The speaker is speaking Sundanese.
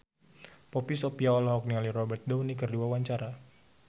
Poppy Sovia olohok ningali Robert Downey keur diwawancara